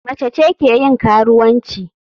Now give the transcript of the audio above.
Mace ce ke yin karuwanci.